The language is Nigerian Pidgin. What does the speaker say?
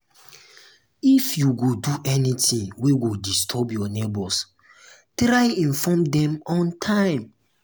if you go do anything wey go disturb your neighbors try inform dem on time